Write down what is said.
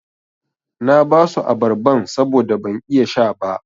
Na basu abarban saboda ban iya sha ba.